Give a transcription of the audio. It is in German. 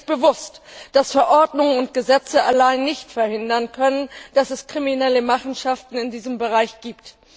Mir ist bewusst, dass Verordnungen und Gesetze allein nicht verhindern können, dass es kriminelle Machenschaften in diesem Bereich gibt.